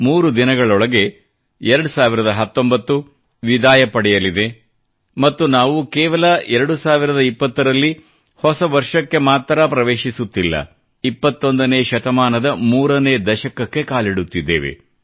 3 ದಿನಗಳೊಳಗೆ 2019 ವಿದಾಯ ಪಡೆಯಲಿದೆ ಮತ್ತು ನಾವು ಕೇವಲ 2020ರಲ್ಲಿ ಹೊಸ ವರ್ಷಕ್ಕೆ ಮಾತ್ರ ಪ್ರವೇಶಿಸುತ್ತಿಲ್ಲ 21 ನೇ ಶತಮಾನದ 3 ನೇ ದಶಕಕ್ಕೆ ಕಾಲಿಡುತ್ತಿದ್ದೇವೆ